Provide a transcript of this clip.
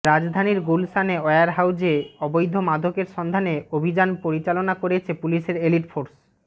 রাজধানীর গুলশানে ওয়্যার হাউজে অবৈধ মাদকের সন্ধানে অভিযান পরিচালনা করেছে পুলিশের এলিটফোর্স